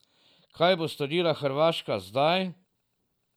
Kaj bo storila Hrvaška zdaj?